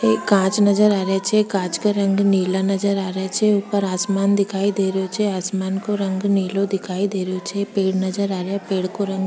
एक कांच नजर आ रहे छे कांच का रंग नीला नजर आ रहे छे ऊपर आसमान दिखाई दे रहो छे आसमान का रंग नीलो दिखाई दे रहे छे पेड़ नजर आ रहा है पेड़ का रंग --